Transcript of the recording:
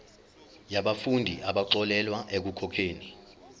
yabafundi abaxolelwa ekukhokheni